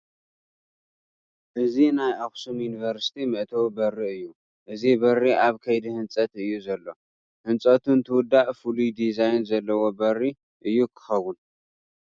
እዚ ናይ ኣኽሱም ዩኒቨርሲቲ መእተዊ በሪ እዩ፡፡ እዚ በሪ ኣብ ከይዲ ህንፀት እዩ ዘሎ፡፡ ህንፀቱ እንትውዳእ ፍሉይ ዲዛይን ዘለዎ በሪ እዩ ክኸውን፡፡